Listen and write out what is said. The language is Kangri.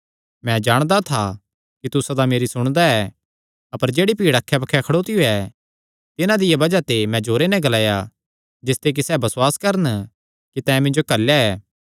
मैं जाणदा था कि तू सदा मेरी सुणदा ऐ अपर जेह्ड़ी भीड़ अक्खै बक्खे खड़ोतियो ऐ तिन्हां दिया बज़ाह ते मैं जोरे नैं ग्लाया जिसते कि सैह़ बसुआस करन कि तैं मिन्जो घल्लेया ऐ